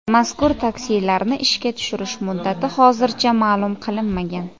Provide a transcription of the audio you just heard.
Mazkur taksilarni ishga tushish muddati hozircha ma’lum qilinmagan.